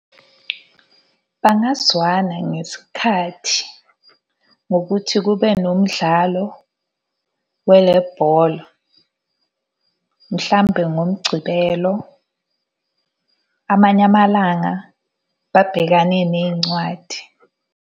Bangazwana ngesikhathi, ngokuthi kube nomdlalo wale bhola, mhlampe ngoMgcibelo lo amanye amalanga babhekane ney'ncwadi.